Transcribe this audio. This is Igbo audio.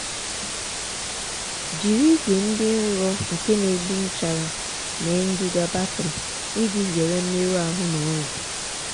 jiri ígwè dị nro nke na-egbu nchara mee ngịga batrị iji zere mmerụ ahụ na ọrịa.